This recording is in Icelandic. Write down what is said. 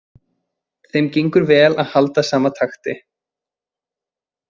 Þeim gengur vel að halda sama takti.